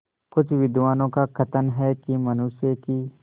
कुछ विद्वानों का कथन है कि मनुष्य की